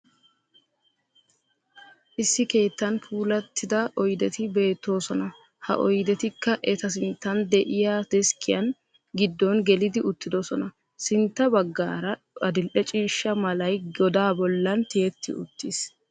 Issi keettan puulattida oyideti beettoosona. Ha oyidetikka eta sinttan de'iya deskkiyan giddon gelidi uttidosona. Sintta baggaara adil'e ciishsha malay godaa bollan tiyetti uttis.